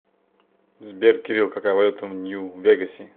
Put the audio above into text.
сбер кирилл какая валюта в нью вегасе